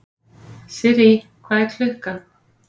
Sirrý, hvað er klukkan?